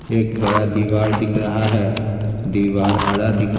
एक बड़ा दीवार दिख रहा है दीवार हरा दिख--